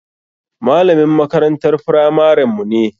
Malamin makarantar firamaren mu ne.